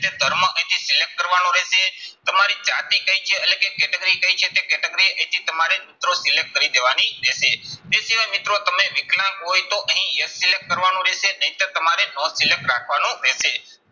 તે ધર્મ અહીંથી select કરવાનો રહેશે. તમારી જાતિ કઈ છે એટલે કે category કઈ છે તે category અહીંથી તમારે મિત્રો select કરી દેવાની રહેશે. તે સિવાય મિત્રો તમે વિકલાંગ હોય તો અહીં એ select કરવાનું રહેશે. નહીંતર તમારે no select રાખવાનું રહેશે.